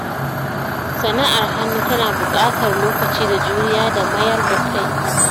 Sana'ar hannu tana buƙatar lokaci da juriya da mayar da kai.